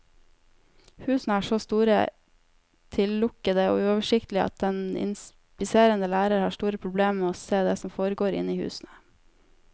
Husene er så store, tillukkede og uoversiktlige at den inspiserende lærer har store problemer med å se det som foregår inne i husene.